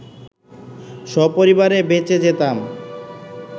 সপরিবারে বেঁচে যেতাম